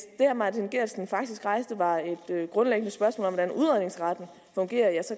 herre martin geertsen faktisk rejste var et grundlæggende spørgsmål om hvordan udredningsretten fungerer